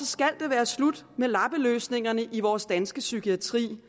skal det være slut med lappeløsninger i vores danske psykiatri